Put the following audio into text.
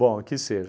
que seja.